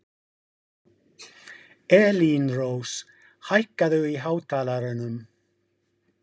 Elínrós, hækkaðu í hátalaranum.